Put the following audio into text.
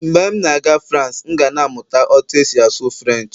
mgbe m na-aga France, m ga na-amụta otú e si asụ Firench